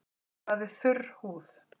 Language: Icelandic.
Hvað er þurr húð?